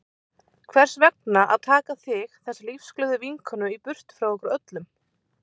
Hvers vegna að taka þig, þessa lífsglöðu vinkonu í burtu frá okkur öllum?